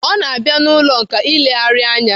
O na-abịa n'ụlọ nkà ilegharị anya.